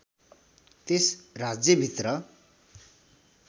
त्यस राज्यभित्र